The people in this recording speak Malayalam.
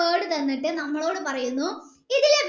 word തന്നിട്ട് നമ്മളോട് പറയുന്നു ഇതിലെ